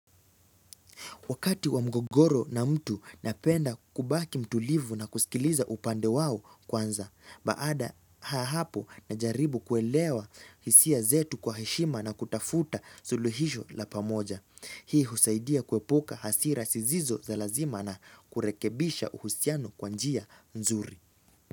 Wakati wa mgogoro na mtu napenda kubaki mtulivu na kusikiliza upande wao kwanza. Baada ya hapo najaribu kuelewa hisia zetu kwa heshima na kutafuta suluhisho la pamoja. Hii husaidia kuepuka hasira sisizo za lazima na kurekebisha uhusiano kwa njia nzuri.